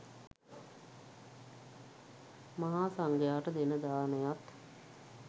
මහා සංඝයාට දෙන දානයත්